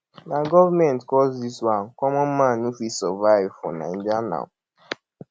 na government cause this one common man no fit survive for naija now